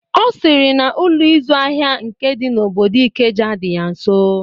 Ọ sịrị na Ụlọ ịzụ ahịa nke dị n'obodo Ikeja dị ya nso.